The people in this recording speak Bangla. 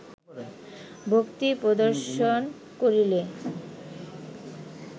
ভক্তি প্রদর্শন করিলে